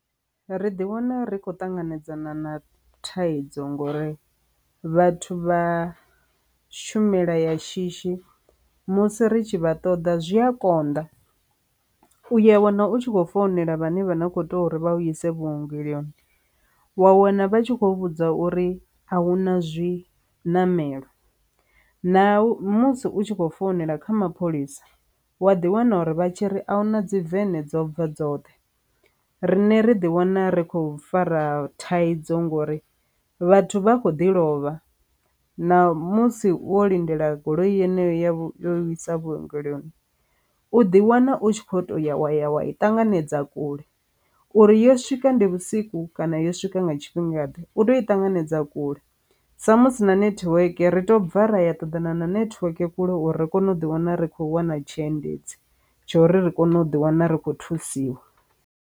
Ri ḓi wana ri khou ṱanganedzana na thaidzo ngori vhathu vha shumela ya shishi musi ri tshi vha ṱoḓa zwi a konḓa, u ya wana u tshi khou founela vhane vha na kho tea uri vha ise vhuongeloni wa wana vha tshi khou vhudza uri a hu na zwi namela na musi u tshi khou founela kha mapholisa wa ḓi wana uri vha tshi ri ahuna dzi wekende dzo bva dzoṱhe. Riṋe ri ḓi wana ri khou fara thaidzo ngori vhathu vha kho ḓi lovha na musi wo lindela goloi yeneyo ya yo isa vhuongeloni u ḓi wana u tshi kho to ya wa ya wa i ṱanganedza kule uri yo swika ndi vhusiku kana yo swika nga tshifhinga ḓe u to i ṱanganedza kule samusi na netiweke ri to bva ra ya ṱoḓana na netiweke kule uri ri kone u ḓi wana ri khou wana dzhendedzi tsho uri ri kone u ḓi wana ri khou thusiwa.